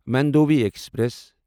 Mandovi express